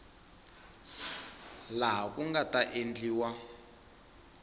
laha ku nga ta endliwa